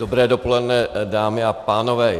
Dobré dopoledne, dámy a pánové.